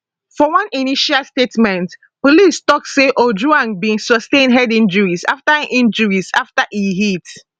for one initial statement police tok say ojwang bin sustain head injuries afta injuries afta e hit